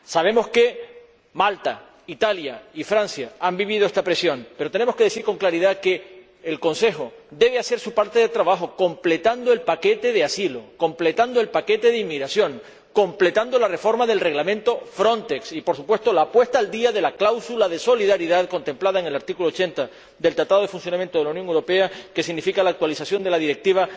Sabemos que Malta, Italia y Francia han vivido esta presión, pero tenemos que decir con claridad que el Consejo debe hacer su parte del trabajo, completando el paquete de asilo, completando el paquete de inmigración, completando la reforma del Reglamento FRONTEX y, por supuesto, la puesta al día de la cláusula de solidaridad contemplada en el artículo 80 del Tratado de Funcionamiento de la Unión Europea, que significa la actualización de la Directiva